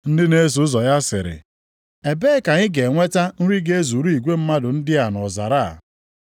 Ndị na-eso ụzọ ya sịrị, “Ebee ka anyị ga-enweta nri ga-ezuru igwe mmadụ ndị a nʼọzara a?”